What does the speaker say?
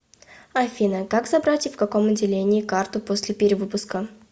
афина как забрать и в каком отделении карту после перевыпуска